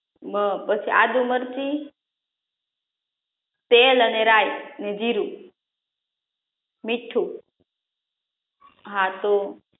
બ પછી આદુ મરચી તેલ અને રાઇ અને જીરુ મીઠું હા તો